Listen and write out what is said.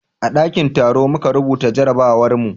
a dakin taro muka rubuta jarabawar mu